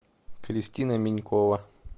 кристина минькова